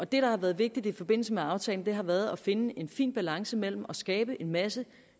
det der har været vigtigt i forbindelse med aftalen har været at finde en fin balance mellem at skabe en masse